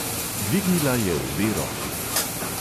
Dvignila je obe roki.